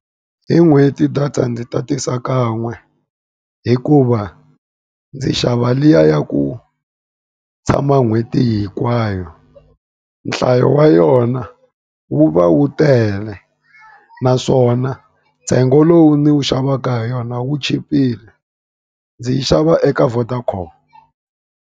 Hi n'hweti data ndzi tatisa kan'we, hikuva ndzi xava liya ya ku tshama n'hweti hinkwayo. Nhlayo wa yona wu va wu tele, naswona ntsengo lowu ndzi wu xavaka hi yona wu chipile. Ndzi yi xava eka Vodacom.